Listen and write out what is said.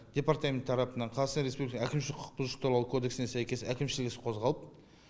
департамент тарапынан қазақстан республика әкімшілік құқық бұзушылық туралы кодексіне сәйкес әкімшілк іс қозғалып